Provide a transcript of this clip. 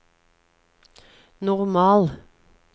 normal